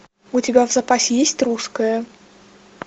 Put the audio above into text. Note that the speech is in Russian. у тебя в запасе есть русское